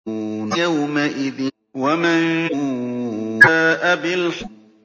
وَلُوطًا إِذْ قَالَ لِقَوْمِهِ أَتَأْتُونَ الْفَاحِشَةَ مَا سَبَقَكُم بِهَا مِنْ أَحَدٍ مِّنَ الْعَالَمِينَ